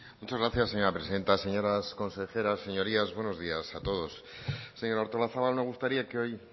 muchas gracias señora presidenta señoras consejeras señorías buenos días a todos señora artolazabal me gustaría que hoy